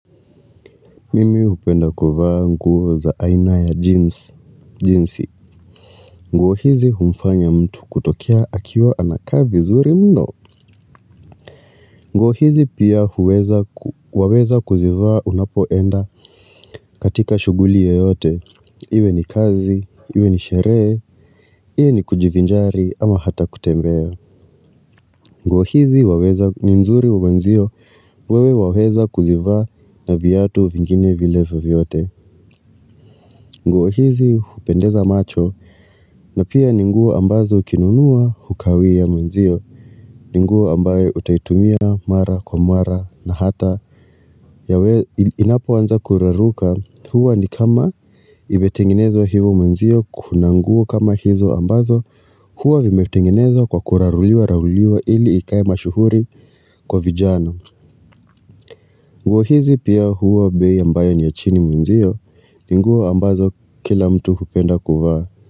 Mimi hupenda kuvaa nguo za aina ya jeans jeansi. Nguo hizi humfanya mtu kutokea akiwa anakaa vizuri mno Mimi hupenda kuvaa nguo za aina ya jeans jeansi. Nguo hizi humfanya mtu kutokea akiwa anakaa vizuri mno nguo hizi waweza ni mzuri mwanzio wewe waweza kuzivaa na viatu vingine vile vovyote nguo hizi hupendeza macho na pia ni nguo ambazo ukinunua hukawii ya mwenzio ni nguo ambayo utaitumia mara kwa mara na hata yawe inapo anza kuraruka huwa ni kama imetengenezwa hivo mwenzio kuna nguo kama hizo ambazo Huwa vimetengenezwa kwa kuraruliwa raruliwa ili ikai mashuhuri kwa vijana nguo hizi pia huwa bei ambayo ni ya chini mwenzio ni nguo ambazo kila mtu hupenda kuvaa.